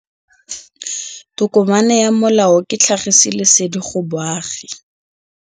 Tokomane ya molao ke tlhagisi lesedi go baagi.